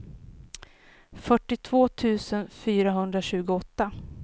fyrtiotvå tusen fyrahundratjugoåtta